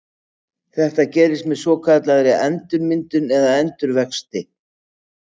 Þetta gerist með svokallaðri endurmyndun eða endurvexti.